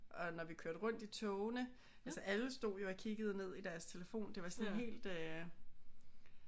Og når vi kørte rundt i togene altså alle stod jo og kiggede ned i deres telefon. Det var sådan helt øh